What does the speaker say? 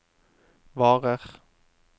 varer